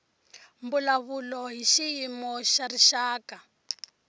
mbulavulo hi xiyimo xa rixaka